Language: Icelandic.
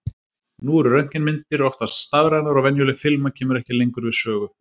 Nú eru röntgenmyndir oftast stafrænar og venjuleg filma kemur ekki lengur við sögu.